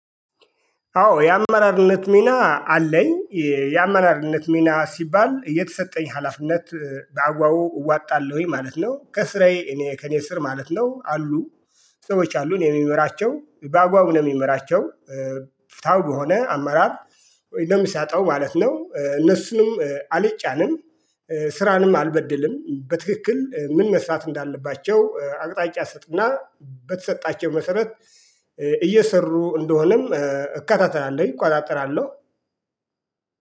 አዎ የአመራርነት ሚና አለኝ። የአመራርነት ሚና ሲባል የተሰጠኝ ሀላፍነት በአግባቡ እወጣለሁኝ ማለት ነው። ከስራዬ እኔ ከእኔ ስር ማለት ነው አሉ። ሰዎች አሉ እኔ የምመራቸው በአግባቡ ነው የምመራቸው። ፍትሃው በሆነ አመራር ወይ እንደሚሰጠው ማለት ነው። እነሱንም አልጫንም። ስራንም አልበድልም በትክክል ምን መስራት እንዳለባቸው አቅጣጫ ስጥና በተሰጣቸው መሰረት። እየሰሩ እንደሆነም እከታተላለሁኝ እቆጣጠራለሁ